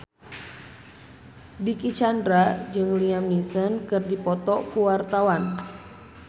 Dicky Chandra jeung Liam Neeson keur dipoto ku wartawan